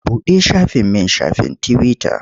Buɗe shafin min shafin tiwita.